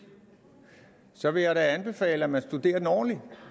så vil jeg da anbefale at man studerer den ordentligt